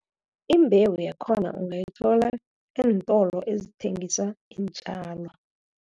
Imbewu yakhona ungayithola eentolo ezithengisa iintjalo.